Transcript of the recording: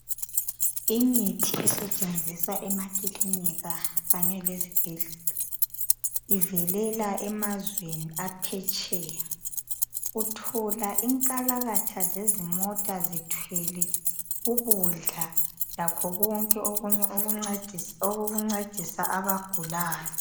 Imithi esetshenziswa emakilinika kanye lezibhedlela ivelela emazweni aphetsheya uthola inkalakatha zezimota zithwele ukudla lakho kwonke okokuncedisa abagulayo.